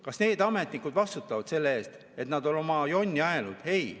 Kas need ametnikud vastutavad selle eest, et nad on oma jonni ajanud?